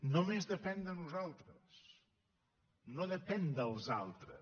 només depèn de nosaltres no depèn dels altres